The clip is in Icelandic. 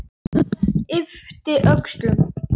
Yppti öxlum.